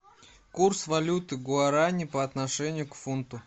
курс валюты гуарани по отношению к фунту